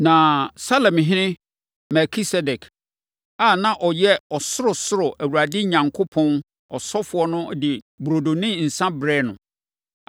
Na Salemhene + 14.18 Salem yɛ Yerusalem tete din. Melkisedek a na ɔyɛ Ɔsorosoro Awurade Onyankopɔn ɔsɔfoɔ no de burodo ne nsã brɛɛ no.